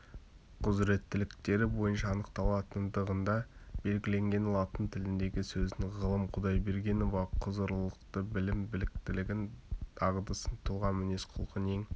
құзыреттіліктері бойынша анықталатындығыда белгіленген латын тіліндегі сөзін ғалым құдайбергенова құзырлылықты білімін біліктілігін дағдысын тұлға мінез-құлқын ең